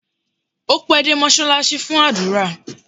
Ó pẹ́ dé mọ́ṣáláṣí fún àdúrà